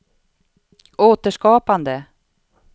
återskapande